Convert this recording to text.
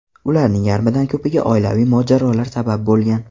Ularning yarmidan ko‘piga oilaviy mojarolar sabab bo‘lgan.